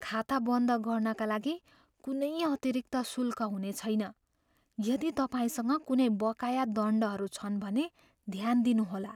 खाता बन्द गर्नाका लागि कुनै अतिरिक्त शुल्क हुनेछैन। यदि तपाईँसँग कुनै बकाया दण्डहरू छन् भने ध्यान दिनुहोला।